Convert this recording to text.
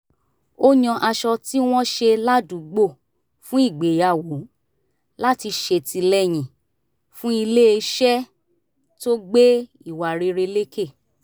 ó yan aṣọ tí wọ́n ṣe ládùúgbò fún ìgbéyàwó láti ṣètìlẹyìn fún iléeṣẹ́ tó gbé ìwà rere lékè